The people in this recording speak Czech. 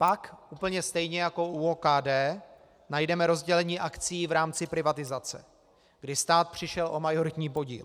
Pak, úplně stejně jako u OKD, najdeme rozdělení akcií v rámci privatizace, kdy stát přišel o majoritní podíl.